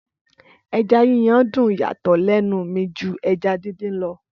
Ẹja yíyan dùn yàtò lẹnu mi ju ẹja dín dín lọ